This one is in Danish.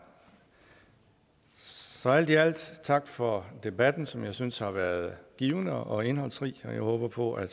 så alt i alt tak for debatten som jeg synes har været givende og indholdsrig og jeg håber på at